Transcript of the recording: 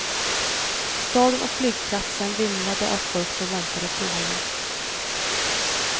Staden och flygplatsen vimlade av folk som väntade på honom.